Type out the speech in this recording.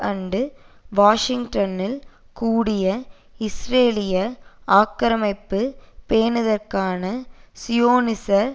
அன்று வாஷிங்டனில் கூடிய இஸ்ரேலிய ஆக்கிரமிப்பைப் பேணுதற்கான சியோனிச